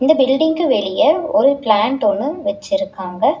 இந்த பில்டிங்க்கு வெளிய ஒரு பிளேண்ட் ஒன்னு வெச்சிருக்காங்க.